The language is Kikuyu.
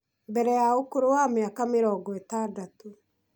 mbere ya ũkũrũ wa mĩaka mĩrongo ĩtandatũ